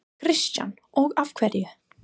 Kristján: Og af hverju?